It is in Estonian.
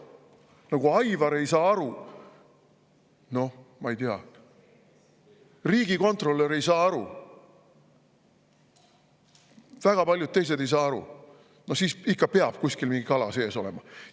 No kui Aivar ei saa aru, ma ei tea, kui riigikontrolör ei saa aru ja väga paljud teised ei saa aru, siis peab ikka kuskil mingi kala sees olema.